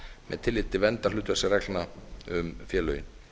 með tilliti til verndar hlutfallsreglna um félögin